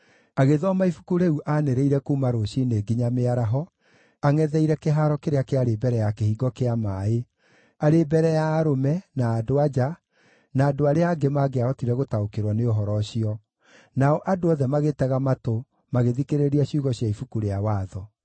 Agĩthoma ibuku rĩu aanĩrĩire kuuma rũciinĩ nginya mĩaraho, angʼetheire kĩhaaro kĩrĩa kĩarĩ mbere ya Kĩhingo kĩa Maaĩ, arĩ mbere ya arũme, na andũ-a-nja, na andũ arĩa angĩ mangĩahotire gũtaũkĩrwo nĩ ũhoro ũcio. Nao andũ othe magĩtega matũ, magĩthikĩrĩria ciugo cia Ibuku rĩa Watho.